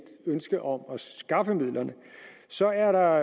ønske om at skaffe midlerne så er der